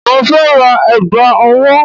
Mo fẹ́ ra ẹ̀gbà owó